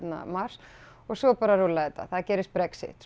mars og svo bara rúllaði þetta það gerist Brexit